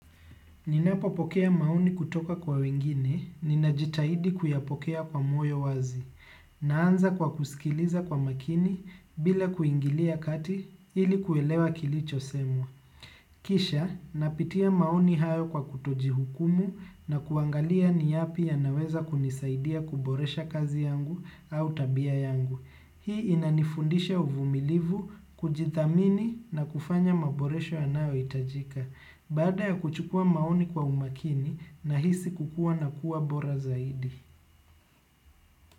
Ninapopokea maoni kutoka kwa wengine, ninajitahidi kuyapokea kwa moyo wazi, naanza kwa kusikiliza kwa makini bila kuingilia kati ili kuelewa kilicho semwa. Kisha, napitia maoni hayo kwa kutoji hukumu na kuangalia ni yapi ya naweza kunisaidia kuboresha kazi yangu au tabia yangu. Hii inanifundisha uvumilivu, kujidhamini na kufanya maboresho yanayo hitajika. Baada ya kuchukua maoni kwa umakini na hisi kukuwa na kuwa bora zaidi.